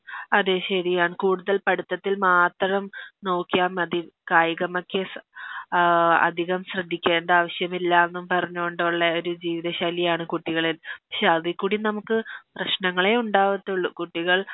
അതെ ശെരിയാണ് കൂടുതൽ പഠിത്തത്തിൽ മാത്രം നോക്കിയാ മതി കായികമൊക്കെ ഏ അതികം ശ്രെദ്ധിക്കണ്ട ആവശ്യമില്ലാന്ന് പറഞ്ഞോണ്ടെ ഉള്ള ഒരു ജീവിത ശൈലിയാണ് കുട്ടികളെ പക്ഷെ അതിക്കൂടി നമുക്ക് പ്രശ്നനങ്ങളെ ഉണ്ടാവത്തൊള്ളു കുട്ടികൾ